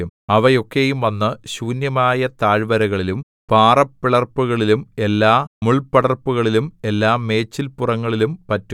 അവ ഒക്കെയും വന്നു ശൂന്യമായ താഴ്വരകളിലും പാറപ്പിളർപ്പുകളിലും എല്ലാമുൾപടർപ്പുകളിലും എല്ലാ മേച്ചൽപുറങ്ങളിലും പറ്റും